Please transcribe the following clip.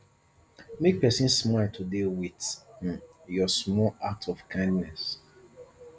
make pesin smile today with um your small act of kindness